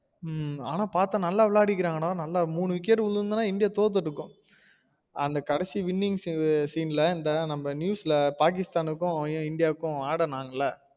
ஹம் ஆனா பாத்தா நல்ல வில்லையாடிருகான்க டா நல்லா மூணு wicket விழுந்திருந்தா இந்தியா தோத்திருக்கும் அந்த கடைசி winning scene ல இந்த நம்ம news ல பாகிஸ்தானுக்கும் இந்தியாக்கும் ஆடுனாங்களா